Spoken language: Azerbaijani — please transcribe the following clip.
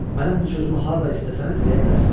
Mənim bu sözümü harda istəsəniz deyə bilərsiniz.